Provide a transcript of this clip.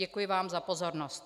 Děkuji vám za pozornost.